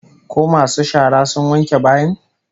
Ko masu shara sun wanke bayin?